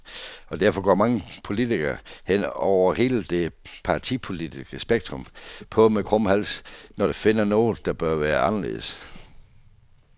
Og derfor går mange politikere, hen over hele det partipolitiske spektrum, på med krum hals, når de finder noget, der bør være anderledes.